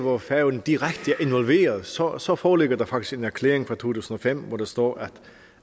hvor færøerne direkte er involveret så så foreligger der faktisk en erklæring fra to tusind og fem hvor der står